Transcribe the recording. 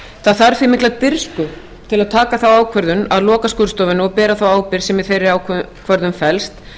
það þarf því mikla dirfsku til að taka þá ákvörðun að loka skurðstofunni og bera þá ábyrgð sem í þeirri ákvörðun felst